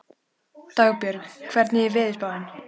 Dagbjörg, hvernig er veðurspáin?